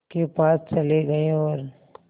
के पास चले गए और